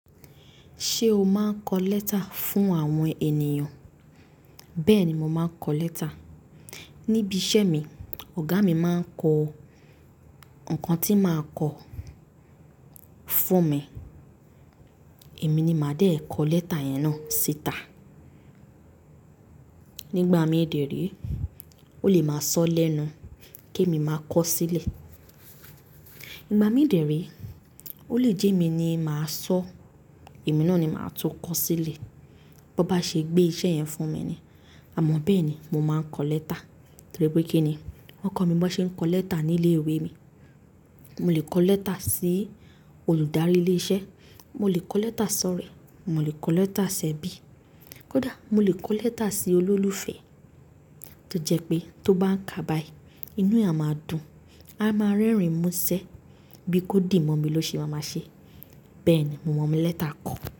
Ṣé o máa ń kọ lẹ́tà fún àwọn ènìyàn? Bẹ́ẹ̀ ni, mo máa ń kọ lẹ́tà. Nibi iṣẹ́ mi, ọ̀gá mi máa ń kọ nǹkan tí máa kọ fún mi. Èmi ni màá dé kọ lẹ́tà yẹn náà síta. Nígbà mí dèe re, ó lè máa sọ lẹ́nu kèmi máa kọ sílè. N gbà mí dèé re, ó lè jẹ́ èmi ni màá sọ, èmi náà ni màá tún kọ sílè. Bó bá ṣe gbé iṣẹ́ yẹn fún mi ni. Àmọ́ bẹ́ẹ̀ ni, mo máa ń kọ lẹ́tà torí pé kí ni? Wọ́n kọ́ mi bọ́n ṣe ń kọ lẹ́tà ní ilé ìwé mi. Mo lè kọ lẹ́tà sí olùdarí ilé iṣẹ́, mo lè kọ lẹ́tà sọ̀rẹ́, mo lè kọ lẹ́tà ṣẹ̀bí. Kódà mo lè kọ lẹ́tà sí olólùfẹ́ tó jẹ́ pé tó bá ń kà bààyi, inú e à máa dùn, a máa rẹ́rìn mú ṣẹ́ bí kódìí mọ́ mi ló ṣe maa má ṣe. Bẹ́ẹ̀ ni mo mọ lẹ́tà kọ.